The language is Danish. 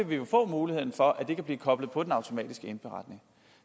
vi jo få muligheden for at det kan blive koblet på den automatiske indberetning